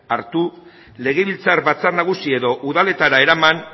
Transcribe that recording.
hartu legebiltzar batzar nagusi edo udaletara eraman